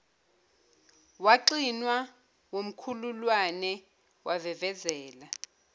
waxinwa wumkhululane wavevezela